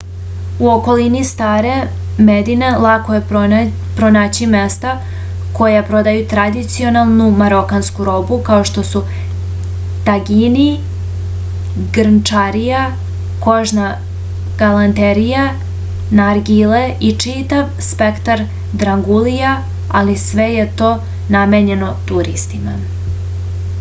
u okolini stare medine lako je pronaći mesta koja prodaju tradicionalnu marokansku robu kao što su tagini grnčarija kožna galanterija nargile i čitav spektar drangulija ali sve je to namenjeno turistima